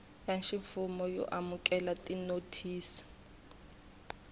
ya ximfumo yo amukela tinothisi